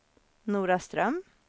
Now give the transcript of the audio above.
Noraström